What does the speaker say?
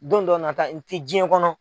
Don dɔ nata n tɛ jiyɛn kɔnɔ.